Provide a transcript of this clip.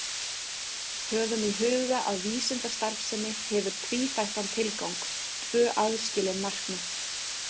Höfum í huga að vísindastarfsemi hefur tvíþættan tilgang, tvö aðskilin markmið.